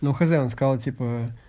но хозяин сказал типа